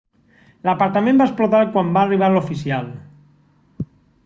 l'apartament va explotar quan va arribar l'oficial